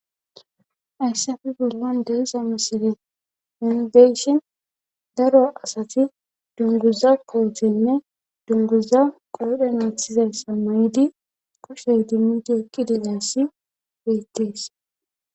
Haysafe bollon deesa misile indeyshin daro asati dunguza koothenne dunguza qoodhe naathizayssa mayidi koshshey dimmidi eqqi dilayssi beyttees